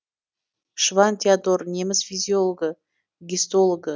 шванн теодор неміс физиологы гистологы